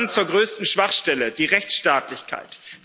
Dann zur größten Schwachstelle der Rechtsstaatlichkeit.